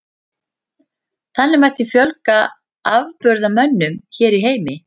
Þannig mætti fjölga afburðamönnum hér í heimi.